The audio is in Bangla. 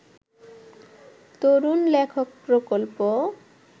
তরুণ লেখক প্রকল্প